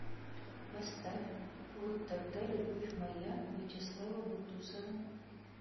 поставь вот тогда любовь моя вячеслава бутусова